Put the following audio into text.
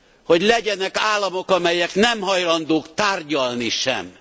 hogy legyenek államok, amelyek nem hajlandók tárgyalni sem!